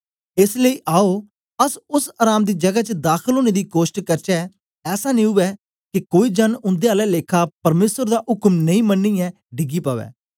एस लेई आओ अस ओस अराम दी जगै दाखल ओनें दी कोष्ट करचै ऐसा नेई उवै के कोई जन उन्दे आला लेखा परमेसर दा उक्म नेई मनियै डिगी पवै